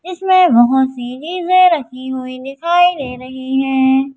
जिसमें बहुत सी चीजें रखी हुई है।